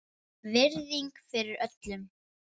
Virðing fyrir öllum.